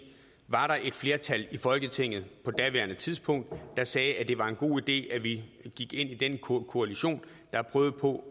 var der et flertal i folketinget på daværende tidspunkt der sagde at det var en god idé at vi gik ind i den koalition der prøvede på